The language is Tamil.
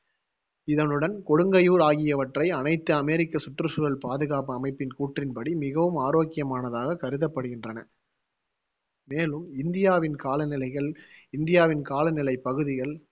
இதனுடன் கொடுங்கையூர் ஆகியவற்றை அனைத்து அமெரிக்க சுற்றுச்சூழல் பாதுகாப்பு அமைப்பின் கூற்றின் படி மிகவும் ஆரோக்கியமானதாக் கருதப்படுகின்றன மேலும் இந்தியாவின் காலநிலை இந்தியாவின் காலநிலை பகுதிகள்